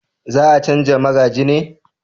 za a canja magaji ne?